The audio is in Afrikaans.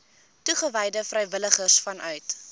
toegewyde vrywilligers vanuit